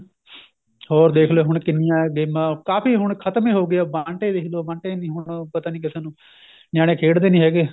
ਹੋਰ ਦੇਖ ਲਿਉ ਹੁਣ ਕਿੰਨੀਆਂ ਗੇਮਾ ਕਾਫੀ ਹੁਣ ਖਤਮ ਹੀ ਹੋ ਗਏ ਆਪਾਂ ਬੰਟੇ ਵੇਖ ਲੋ ਬੰਟੇ ਨੀਂ ਹੁਣ ਪਤਾ ਨੀ ਕਿਸੇ ਨੂੰ ਨਿਆਣੇ ਖੇਡਦੇ ਨੀ ਹੈਗੇ